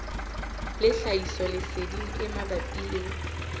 le tlhahisoleseding e mabapi le